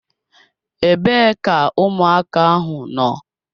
Ebee ka ụmụaka ahụ nọ?